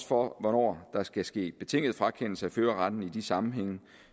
for hvornår der skal ske en betinget frakendelse af førerretten i de sammenhænge